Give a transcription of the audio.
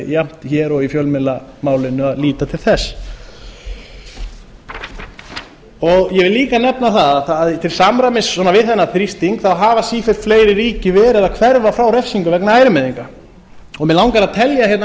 jafnt hér og í fjölmiðlamálinu að líta til þess ég vil líka nefna að til samræmis við þennan þrýsting hafa sífellt fleiri ríki verið að hverfa frá refsingum vegna ærumeiðinga mig langar að telja hérna